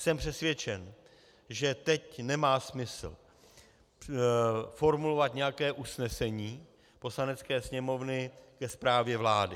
Jsem přesvědčen, že teď nemá smysl formulovat nějaké usnesení Poslanecké sněmovny ke zprávě vlády.